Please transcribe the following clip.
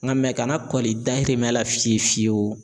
N ka ka na kɔli dayirimɛ la fiyewu fiyewu